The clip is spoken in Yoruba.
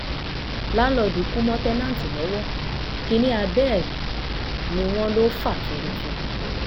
làǹlóòdù kú mọ́ táǹtẹ́ǹtì lọ́wọ́ kínní abẹ́ ẹ̀ ni wọ́n lọ fa tuurutu